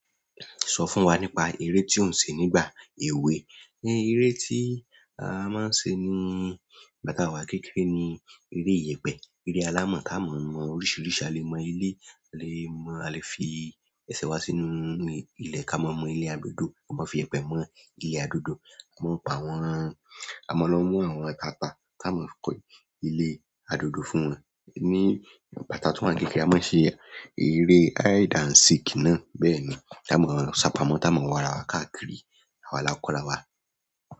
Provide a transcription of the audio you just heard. Sọ fún wa nípa eré tí ó ń ṣe nígbà èwe. Eré tí a máa ń ṣe ní ìgbà táa wa kékeré ni eré ìyẹ̀pẹ̀, eré alámọ̀ tá mọ́ mọ oríṣiríṣi, a lè mọ ilé, a lè fi ẹsẹ̀ wa sínú ilẹ̀ ká mọ́ ilé adódo, a máa fi ẹpẹ̀ mọ ilé adódo, a mọ ń pa àwọn, a máa ń lọ mú àwọn ata pá tá a mọ̀ kọ́ ilé adódo fún won ní ìgbà táa tun wá kékeré a máa ń ṣe eré hide and seek náà bẹ́ẹ̀ ni, tá a mọ̀ sápá mọ́ tá a mọ̀ warawá káàkiri àwa lá kọrawa.